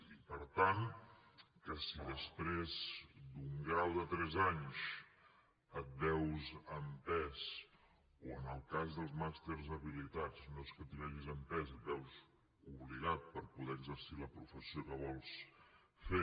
i per tant que si després d’un grau de tres anys et veus empès o en el cas dels màsters habilitants no és que t’hi vegis empès t’hi veus obligat per poder exercir la professió que vols fer